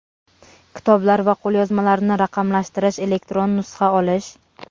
kitoblar va qo‘lyozmalarni raqamlashtirish (elektron nusxa olish).